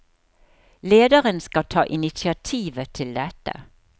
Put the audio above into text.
Lederen skal ta initiativet til dette.